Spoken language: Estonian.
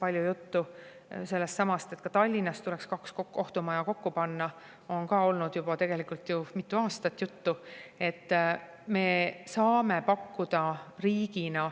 Aga ka sellest, et Tallinnas tuleks kaks kohtumaja kokku panna, on olnud juba mitu aastat juttu.